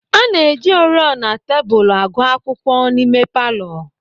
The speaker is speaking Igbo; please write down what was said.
A na-eji oriọna tebụl akụ akwụkwọ n'ime palọ.